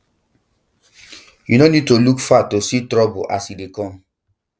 you no need to look far to see trouble as e dey come